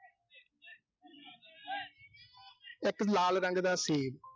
ਇੱਕ ਲਾਲ ਰੰਗ ਦਾ ਸੇਬ।